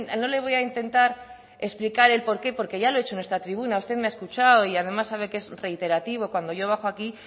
no le voy a intentar explicar el por qué porque ya lo he hecho en esta tribuna usted me ha escuchado y además sabe que es reiterativo cuando yo bajo aquí